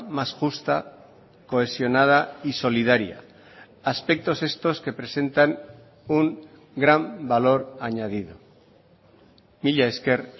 más justa cohesionada y solidaria aspectos estos que presentan un gran valor añadido mila esker